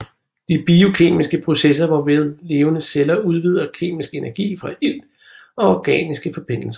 De biokemiske processer hvorved levende celler udvinder kemisk energi fra ilt og organiske forbindelser